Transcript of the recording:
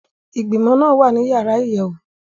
Igbimọ naa wa ni yara iyẹwu.